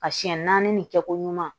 A siɲɛ naani nin kɛ koɲuman